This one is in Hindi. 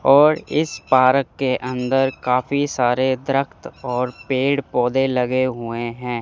और इस पारक के अंदर काफी सारे और पेड़ पौधे लगे हुए हैं।